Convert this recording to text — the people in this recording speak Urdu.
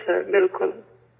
بالکل سر، بالکل